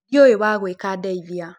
Ndĩũĩ wagwĩka ndeithia.